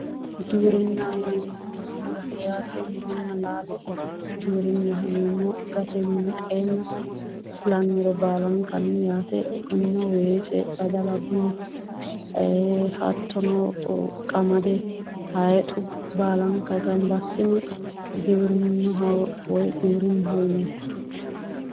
Giwirinnaho yinneemmo woyte murote yaate, muronna laalo giwirinnaho yinneemmo, gate winxenna fulannore baalankanni yaate kunino weese badalla bunnu ,hattono qamade haayixu baallanka gamba assine giwirinnaho yinneemmo.